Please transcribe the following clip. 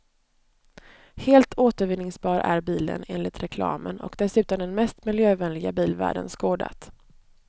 Helt återvinningsbar är bilen, enligt reklamen, och dessutom den mest miljövänliga bil världen skådat.